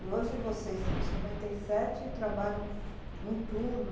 E hoje vocês são cinquenta e trabalham um turno?